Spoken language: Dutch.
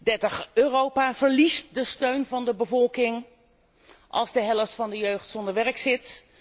30. Europa verliest de steun van de bevolking als de helft van de jeugd zonder werk zit.